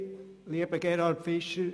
Danke, Grossrat Fischer.